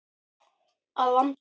Að vanda.